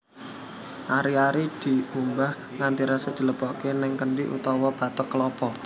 Ari ari dikumbah nganti resik dilebokake ning kendhi utawa bathok kelapa